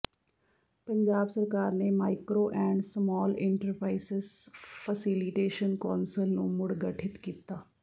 ਪੰਜਾਬ ਸਰਕਾਰ ਨੇ micro and small enterprises facilitation council ਨੂੰ ਮੁੜ ਗਠਿਤ ਕੀਤਾ